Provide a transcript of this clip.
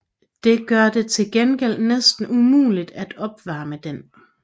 Det gør det til gengæld næsten umuligt at opvarme den